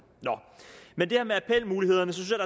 her med appelmulighederne synes jeg